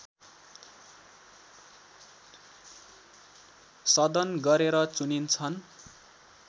सदन गरेर चुनिन्छन्